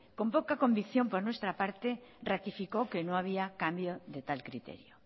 con poca convicción por nuestra parte ratificó que no había cambio de tal criterio